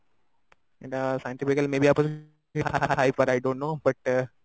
ଇଏଟା scientifically may be ଆଇପାରେ I don't know but